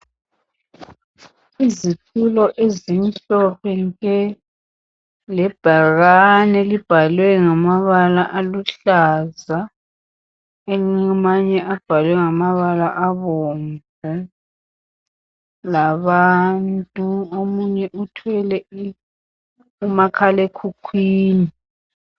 Izitulo ezimhlophe nke, lebhakane elibhalwe ngamabala aluhlaza, amanye abhalwe ngamabala abomvu, labantu, omunye uthwele umakhalekhukhwini.